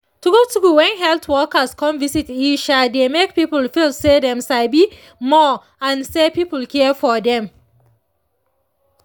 true true when health workers come visit e um dey make people feel say dem sabi more and say people care for dem